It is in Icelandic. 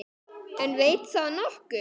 En veit það nokkur?